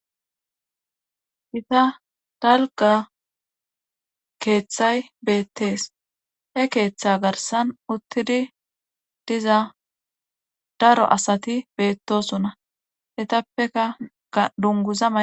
Gita dalgga keethay beettees he keetha garssan uttidi diza daro asati beettoosona etappe ga dungguza mayi.